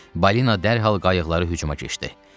Balina dərhal qayıqlara hücuma keçdi.